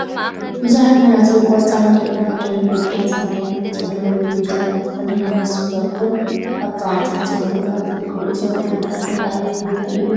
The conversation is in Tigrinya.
ቡዙሓት መናእሰይ ቆፃልን፣ ዒባ፣ ደም በጊዕን ሰማያዊን ሕብሪ ዘለዎም ሌንጀራት ተከዲኖም ምስ ብረቶም አብ ጥቃ ዕንፀይቲ ዘለዎ ቦታታት ይርከቡ፡፡ እዞም ወታሃደራት ናይ አበይ ቦታ እዮም?